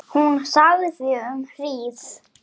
Hún þagði um hríð.